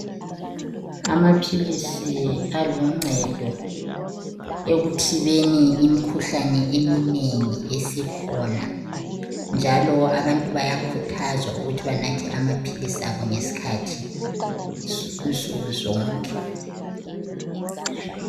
Amaphilisi aluncedo ekuthibeni imikhuhlane eminengi esikhona, njalo abantu bayakhuthazwa ukuthi banathe amaphilisi abo ngesikhathi nsuku zonke.